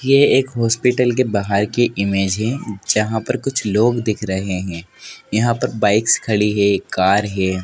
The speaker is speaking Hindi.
ये एक हॉस्पिटल के बाहर की इमेज है जहाँ पर कुछ लोग दिख रहे हैं यहाँ पर बाइक्स खड़ी है एक कार है।